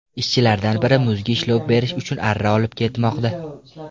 Ishchilardan biri muzga ishlov berish uchun arra olib ketmoqda.